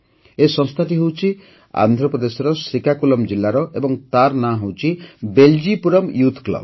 ଏହି ସଂସ୍ଥାଟି ହେଉଛି ଆନ୍ଧ୍ରପ୍ରଦେଶର ଶ୍ରୀକାକୁଲମ୍ ଜିଲ୍ଲାର ଏବଂ ତାର ନାମ ହେଉଛି ବେଲ୍ଜିପୁରମ୍ ୟୁଥ୍ କ୍ଲବ